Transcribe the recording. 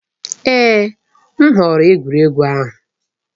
Èè! M họọrọ egwuregwu ahụ.